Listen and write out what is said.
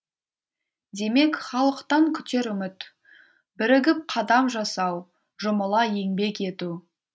демек халықтан күтер үміт бірігіп қадам жасау жұмыла еңбек ету